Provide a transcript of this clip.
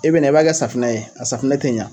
E bɛna i b'a kɛ safunɛ ye a safunɛ tɛ ɲa.